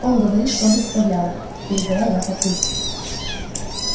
он говорит чтобы исправляла передала я папульке